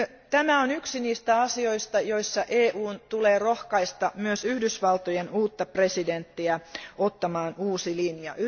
Tämä on yksi niistä asioista, joissa EUn tulee rohkaista myös Yhdysvaltojen uutta presidenttiä ottamaan uusi linja.